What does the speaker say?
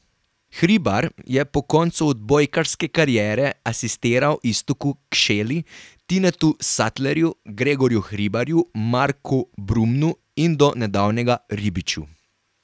Hribar je po koncu odbojkarske kariere asistiral Iztoku Kšeli, Tinetu Satlerju, Gregorju Hribarju, Marku Brumnu in do nedavnega Ribiču.